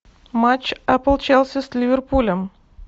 матч апл челси с ливерпулем